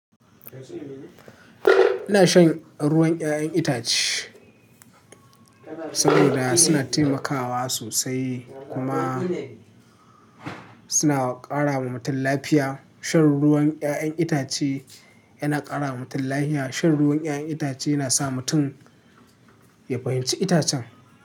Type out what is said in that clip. Ina shan ruwan 'ya'yan itace saboda suna taimakawa sosai kuma suna ƙara wa mutum lafiya. Shan ruwan iyayan itace yana ƙara wa mutum lafiya. Shan ruwan 'ya'yan itace yana sa mutum ya fahimci itacen.